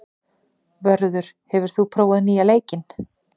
Vörður, hefur þú prófað nýja leikinn?